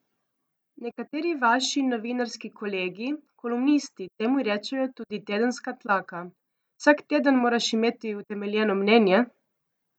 Nekateri vaši novinarski kolegi, kolumnisti temu rečejo tudi tedenska tlaka, vsak teden moraš imeti utemeljeno mnenje?